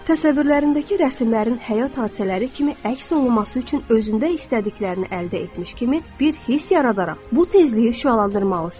Təsəvvürlərindəki rəsmlərin həyat hadisələri kimi əks olunması üçün özündə istədiklərini əldə etmiş kimi bir hiss yaradaraq bu tezliyi şüalandırmalısan.